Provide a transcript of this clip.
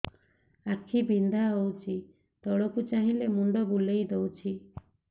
ଆଖି ବିନ୍ଧା ହଉଚି ତଳକୁ ଚାହିଁଲେ ମୁଣ୍ଡ ବୁଲେଇ ଦଉଛି